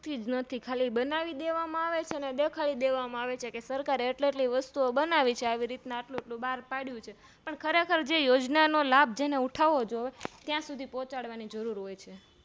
નથી ખાલી બનાવી દેવા માં આવેછે અને દેખાડી દેવામાં આવે છે કે સરકારે એટલી વસ્તુ ઓ બનવી છે આવી રીતે આટલું આટલું બાર પાડીંયું છેપણ ખરેખર જે યોજનાનો લાભ જેને ઉઠાવો જોઈએ ત્યાં સુધી પોચાડવાની જરૂર હોય છે